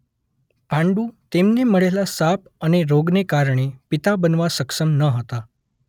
પાંડુ તેમને મળેલા શાપ અને રોગને કારણે પિતા બનવા સક્ષમ ન હતાં.